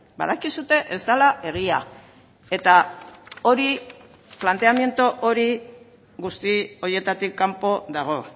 badakizue ez dela egia eta hori planteamendu hori guzti horietatik kanpo dago